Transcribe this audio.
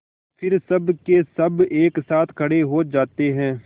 फिर सबकेसब एक साथ खड़े हो जाते हैं